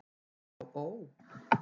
Já ó.